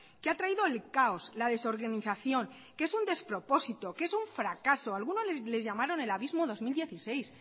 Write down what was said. que ha traído el caos la desorganización que es un despropósito que es un fracaso algunos le llamaron el abismo dos mil dieciséis